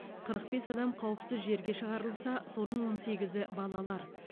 қырық бес адам қауіпсіз жерге шығарылса соның он сегізі балалар